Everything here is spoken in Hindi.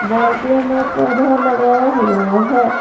बाल्टे में पौधा लगाया हुआ है।